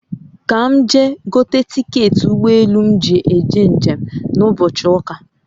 Ka m gaa gote tiketị ụgbọ elù m nji eje njem na ụbọchị ụ́kà